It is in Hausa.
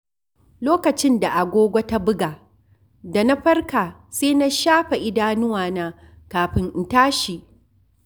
Lokacin da agogo ta buga, da na farka sai na shafa idanuwana kafin in tashi.